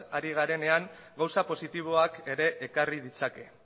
ari garenean gauza positiboak ere ekarri ditzake